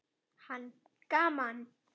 Hann: Gaman.